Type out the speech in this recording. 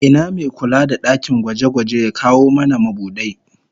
Ina me kula da dakin gwaje-gwaje ya kawo mana mabudai?